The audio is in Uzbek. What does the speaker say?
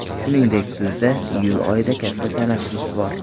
Shuningdek, bizda iyul oyida katta tanaffus bor.